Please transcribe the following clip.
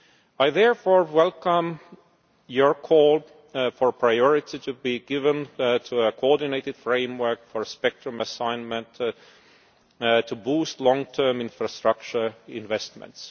year. I therefore welcome the call for priority to be given to a coordinated framework for spectrum assignment to boost long term infrastructure investments.